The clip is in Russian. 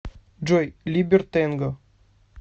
джой либертэнго